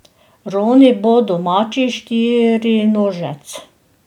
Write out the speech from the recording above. Roni bo domači štirinožec.